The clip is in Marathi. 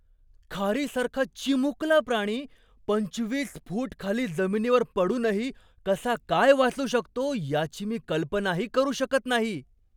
खारीसारखा चिमुकला प्राणी पंचवीस फूट खाली जमिनीवर पडूनही कसा काय वाचू शकतो याची मी कल्पनाही करू शकत नाही.